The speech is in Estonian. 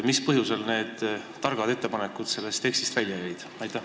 Mis põhjusel jäid need targad ettepanekud siiski sellest tekstist välja?